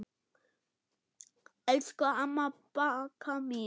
Elsku amma Bagga mín.